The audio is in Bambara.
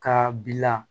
Ka bila